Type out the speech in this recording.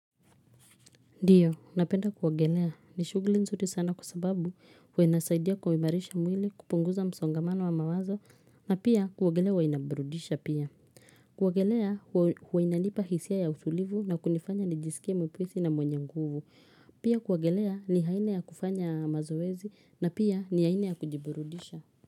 Ndiyo, napenda kuogelea. Ni shughuli nzuri sana kwa sababu huwa inasaidia kuimarisha mwili kupunguza msongamano wa mawazo na pia kuogelea huwa inaburudisha pia. Kuogelea huwa inanipa hisia ya utulivu na kunifanya ni jisike mwepesi na mwenye nguvu. Pia kuogelea ni haina ya kufanya mazoezi na pia ni aina ya kujiburudisha.